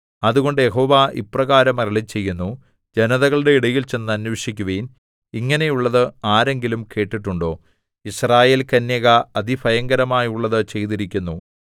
അതുകൊണ്ട് യഹോവ ഇപ്രകാരം അരുളിച്ചെയ്യുന്നു ജനതകളുടെ ഇടയിൽ ചെന്ന് അന്വേഷിക്കുവിൻ ഇങ്ങനെയുള്ളത് ആരെങ്കിലും കേട്ടിട്ടുണ്ടോ യിസ്രായേൽകന്യക അതിഭയങ്കരമായുള്ളതു ചെയ്തിരിക്കുന്നു